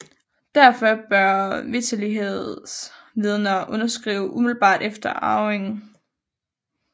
Derfor bør vitterlighedsvidnerne underskrive umiddelbart efter arvingen